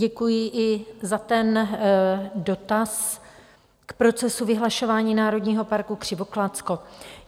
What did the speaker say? Děkuji i za ten dotaz k procesu vyhlašování národního parku Křivoklátsko.